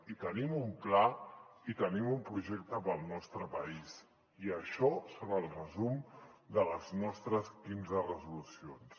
i tenim un pla i tenim un projecte per al nostre país i això és el resum de les nostres quinze resolucions